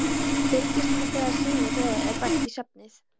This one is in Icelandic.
Fylgist með þegar syni þeirra er bætt í safnið.